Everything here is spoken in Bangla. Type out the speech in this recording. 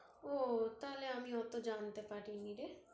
ওহ, তাহলে আমি এতো জানতে পারিনি রে